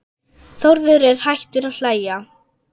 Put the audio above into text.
Þórður er hættur að hlæja.